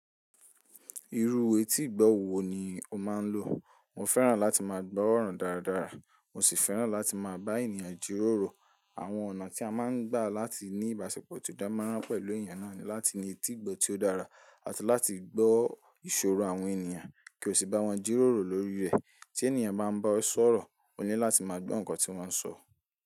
Irú etígbọ̀ wò ní o máa n lò? Mo fẹ́ràn láti máa gbọ́ ọ̀rọ̀ dáradára, mo sì fẹ́ràn láti máa bá ènìyàn jíròrò. Àwọn ọ̀nà tí a máa ń gbà láti ní ìbáṣepọ̀ tó dán mọ́rán pẹ̀lú ènìyàn náà ni láti ní etígbọ̀ tí ó dára àti láti gbọ́ ìṣòro àwọn ènìyàn kí o sì bá wọn jíròrò lórí rẹ̀. Tí ènìyàn bá ń bá ẹ sọ̀rọ̀, o ní láti máa gbọ́ ǹkan tí wọ́n ń sọ.